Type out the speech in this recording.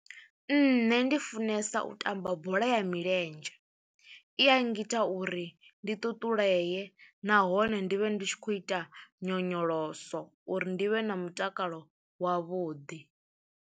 Nṋe ndi funesa u tamba bola ya milenzhe, i a ngita uri ndi ṱuṱulee nahone ndi vhe ndi tshi khou ita nyonyoloso uri ndi vhe na mutakalo wavhuḓi.